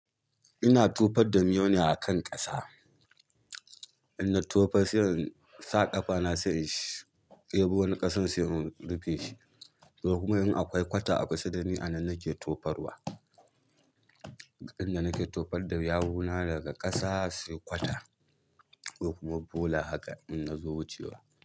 Ina tufad da miyuna ne a kan ƙasa. Inna tofas sai in sa ƙafa na sai in shii deɓo wani ƙasan sai in rufe shi. Ko kuma in akwai kwata a kusa dani a nan nake tofarwa. Inda nake tofar da yawuna daga ƙasa sai kwata, ko kuma bola haka in na zo wucewa.